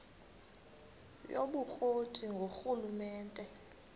yobukro ti ngurhulumente